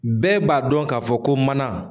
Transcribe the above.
Bɛɛ b'a dɔn k'a fɔ ko mana